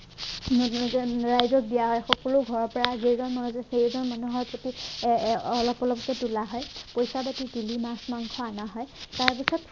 তেনেকে তেনেকে ৰাইজক দিয়া সকলো ঘৰৰ পৰা যেইজন মানুহ আছে সেইজন মানুহৰ প্ৰতি আহ আহ অলপ অলপকে তোলা হয় পইচা পাতি তুলি মাছ মাংস অনা হয় তাৰপাছত